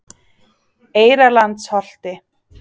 Eyrarlandsholti